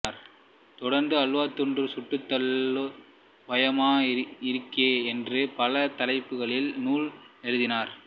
தொடர்ந்து அல்வாத் துண்டு சுட்டுத் தள்ளு பயமா இருக்கே என்ற பல தலைப்புகளில் நூல்கள் எழுதினார்